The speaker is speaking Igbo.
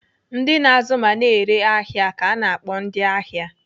Ndị na-azụ ma na-ere ahịa ka ana akpọ ndịahịa.